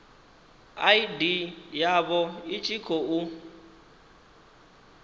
id yavho i tshi khou